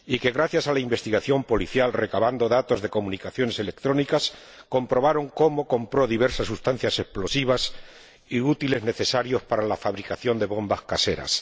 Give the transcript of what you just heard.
gracias a la investigación policial, recabando datos de comunicaciones electrónicas, se comprobó que había comprado diversas sustancias explosivas y útiles necesarios para la fabricación de bombas caseras.